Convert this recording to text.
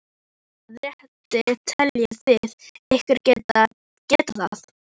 Með hvaða rétti teljið þið ykkur geta það?